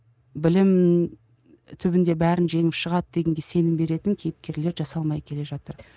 білім түбінде бәрін жеңіп шығады дегенге сенім беретін кейіпкерлер жасалмай келе жатыр